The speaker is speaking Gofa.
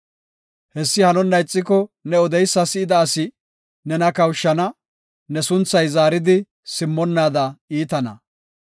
Hessi hanonna ixiko ne odeysa si7ida asi nena kawushana; ne sunthay zaaridi simmonnaada iitana.